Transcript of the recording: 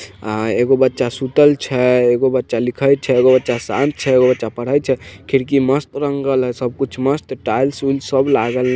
अ-एगो बच्चा सुतल छ एगो बच्चा लिखल छ एगो बच्चा शांत छ एगो बच्चा पढ़ाई छ खिड़की मस्त रंगल ह सब कुछ मस्त टाइल्स वाइल्स सब लागल ह।